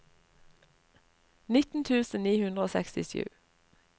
nitten tusen ni hundre og sekstisju